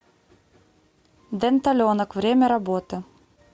денталенок время работы